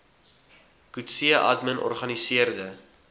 coetzee admin organiseerde